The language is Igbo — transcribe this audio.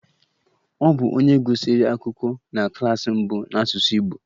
Ọ bụ onye gụsịrị akwụkwọ na klas mbụ n'asụsụ Igbo